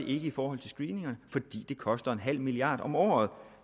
i forhold til screeningerne fordi det koster en halv milliard om året